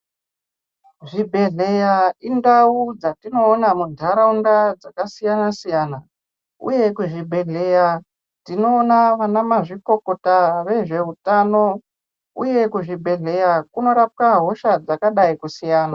Zvibhedhlera indau dzinodetsera antu dzakasiyana siyana uye kuzvibhedhlera Tinoona ana mazvikokota vezvehutano uye kuzvibhedhlera kunorapwa hosha dzakadai kusiyana.